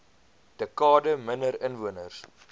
dekade minder inwoners